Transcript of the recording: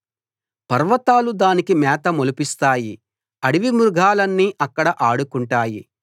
పర్వతాలు దానికి మేత మొలిపిస్తాయి అడవి మృగాలన్నీ అక్కడ ఆడుకుంటాయి